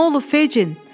Nə olub Fecin?